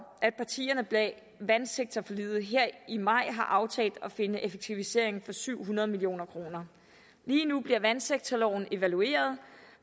at partierne bag vandsektorforliget her i maj har aftalt at finde effektiviseringer for syv hundrede million kroner lige nu bliver vandsektorloven evalueret og